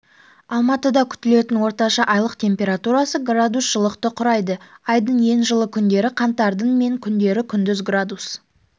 алматыдакүтілетін орташа айлық температурасы градус жылықты құрайды айдың ең жылы күндері қаңтардың мен күндері күндіз градус